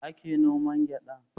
Yaya ake noman gyaɗa?